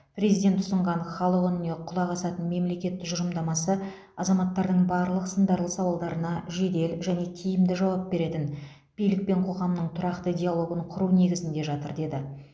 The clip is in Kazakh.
президент ұсынған халық үніне құлақ асатын мемлекет тұжырымдамасы азаматтардың барлық сындарлы сауалдарына жедел және тиімді жауап беретін билік пен қоғамның тұрақты диалогын құру негізінде жатыр деді